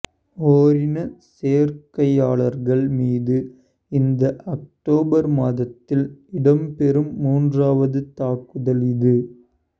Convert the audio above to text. ஓரினச் சேர்க்கையாளர்கள் மீது இந்த ஒக்டோபர் மாதத்தில் இடம்பெறும் மூன்றாவது தாக்குதல் இது